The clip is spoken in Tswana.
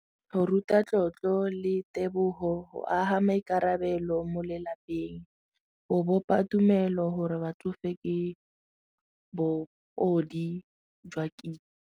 Go ruta tlotlo le tebogo go aga maikarabelo mo lelapeng go bopa tumelo gore batsofe ke jwa kitso.